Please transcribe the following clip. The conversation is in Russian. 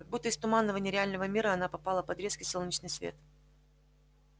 как будто из туманного нереального мира она попала под резкий солнечный свет